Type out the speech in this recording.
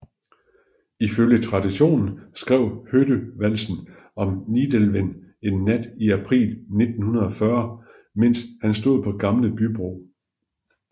Ifølge traditionen skrev Hoddø valsen om Nidelven en nat i april 1940 mens han stod på Gamle Bybro